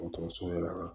Dɔgɔtɔrɔso yɛrɛ la